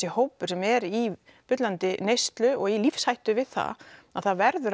hópur sem er í bullandi neyslu og í lífshættu við það það verður